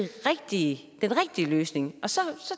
rigtige løsning og så